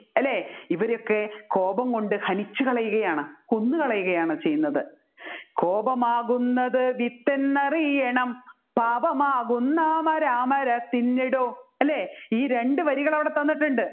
അല്ലെ ഇവരെയൊക്കെ കോപം കൊണ്ട് ഹനിച്ചുകളയുകയാണ് കൊന്നുകളയുകയാണ് ചെയ്യുന്നത് കോപമാകുന്നത് വിത്തെന്നറിയണം പാപമാകുന്ന മരാമരത്തിന്നിടും അല്ലെ ഈ രണ്ട് വരികൾ അവിടെ തന്നിട്ടുണ്ട്